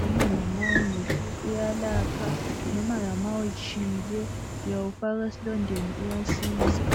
noma nama une flue uyalapha, noma nama utshile uyawufaka esilondeni uyasiza.